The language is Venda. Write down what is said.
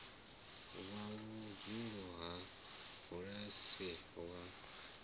wa vhudzulo ha bulasi wa